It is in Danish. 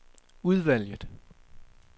udvalget